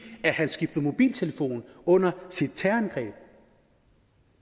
han skiftede mobiltelefon under sit terrorangreb